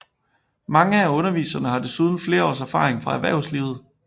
Mange af underviserne har desuden flere års erfaring fra erhvervslivet